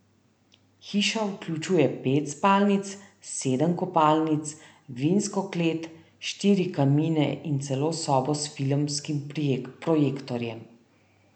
Hiša vključuje pet spalnic, sedem kopalnic, vinsko klet, štiri kamine in celo sobo s filmskim projektorjem.